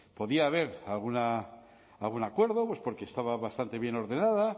podía haber algún acuerdo porque estaba bastante bien ordenada